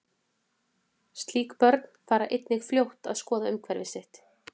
Slík börn fara einnig fljótt að skoða umhverfi sitt.